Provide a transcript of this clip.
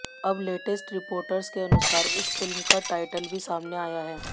अब latest reports के अनुसार इस फिल्म का टाइटल भी सामने आया है